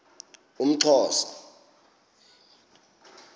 umxhosa